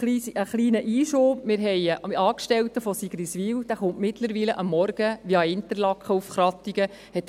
Ein kleiner Einschub: Wir haben einen Angestellten aus Sigriswil, der mittlerweile am Morgen via Interlaken nach Krattigen kommt;